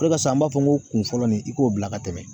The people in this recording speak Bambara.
O de kosɔn an b'a fɔ ko kun fɔlɔ nin i k'o bila ka tɛmɛ